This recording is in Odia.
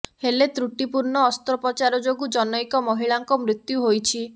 ହେଲେ ତ୍ରୁଟିପୂର୍ଣ୍ଣ ଅସ୍ତ୍ରୋପଚାର ଯୋଗୁଁ ଜନୈକ ମହିଳାଙ୍କ ମୃତ୍ୟୁ ହୋଇଛି